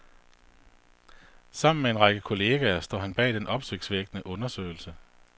Sammen med en række kolleger står han bag den opsigtsvækkende undersøgelse.